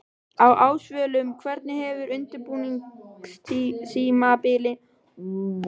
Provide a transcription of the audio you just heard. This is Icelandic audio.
Á Ásvöllum Hvernig hefur undirbúningstímabilinu hjá ykkur verið háttað?